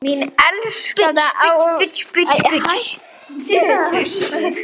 Mín elskaða Ásdís.